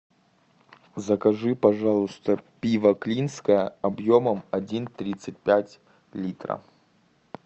закажи пожалуйста пиво клинское объемом один тридцать пять литра